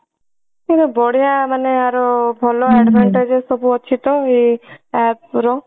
ସେଇଟା ବଢିଆ ମାନେ ଆର ଭଲ advantages ସବୁ ଅଛି ତ ଆଏ app ର